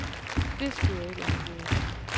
Det skulle jeg ikke have gjort.